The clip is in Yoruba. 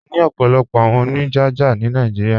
À ní ọ̀pọ̀lọ̀pọ̀ àwọn oníjájá ni Naijíríà.